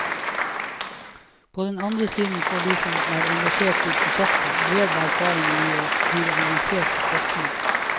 På den andre siden får de som er engasjert i prosjektet, bred erfaring i å drive avansert forskning.